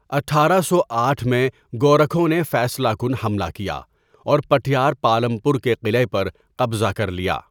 اٹھارہ سو آٹھ میں گورکھوں نے فیصلہ کن حملہ کیا اور پٹھیار پالم پور کے قلعے پر قبضہ کر لیا.